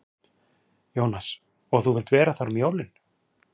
Jónas: Og þú vilt vera þar um jólin?